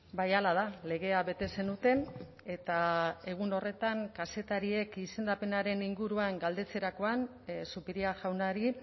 bai hala da legea bete zenuten eta egun horretan kazetariek izendapenaren inguruan galdetzerakoan zupiria jaunari